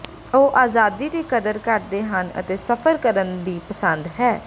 ਉਹ ਆਜ਼ਾਦੀ ਦੀ ਕਦਰ ਕਰਦੇ ਹਨ ਅਤੇ ਸਫ਼ਰ ਕਰਨ ਦੀ ਪਸੰਦ ਹੈ